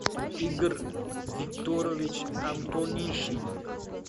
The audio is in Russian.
игорь викторович антонишин